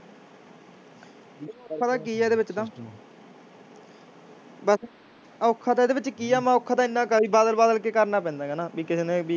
ਪਤਾ ਕੀ ਆ ਇਹਦੇ ਵਿੱਚ ਤਾਂ ਬਸ ਔਖਾ ਤਾਂ ਇਹਦੇ ਵਿੱਚ ਕੀ ਆ, ਮੈਂ ਔਖਾ ਤਾਂ ਇੰਨਾ ਕੁ ਆ ਵੀ ਬਦਲ ਬਦਲ ਕੇ ਕਰਨਾ ਪੈਂਦਾ ਕੁ ਨਾ ਵੀ ਕਿਸੇ ਨੇ ਵੀ